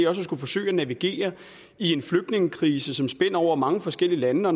også at skulle forsøge at navigere i en flygtningekrise som spænder over mange forskellige lande og